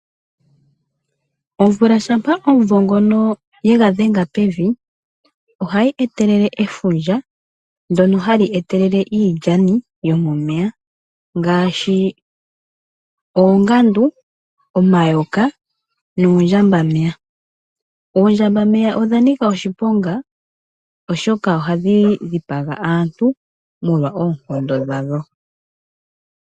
Omvula shampa omuvo ngono ye ga dhenga pevi, ohayi etelele efundja, ndyono hali etelele iilyani yomomeya ngaashi oongandu, omayoka noondjambameya. Oondjambameya odha nika oshiponga, oshoka ohadhi dhipaga aantu molwa oonkondo dhadho.